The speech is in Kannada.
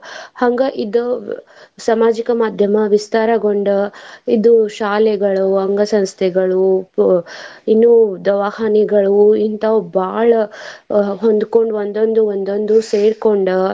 ಹಂಗ ಇದ್ದ ಸಾಮಾಜಿಕ ಮಾದ್ಯಮ ವಿಸ್ತಾರಗೊಂಡ್ ಇದು ಶಾಲೆಗಳು ಅಂಗ ಸಂಸ್ಥೆಗಳು ಇನ್ನು ದವಾಖಾನಿಗಳು ಇಂತಾವ್ ಬಾಳ ಅಹ್ ಹೊಂದ್ಕೊಂಡು ಒಂದೊಂದು ಒಂದೊಂದು ಸೇರ್ಕೊಂಡ.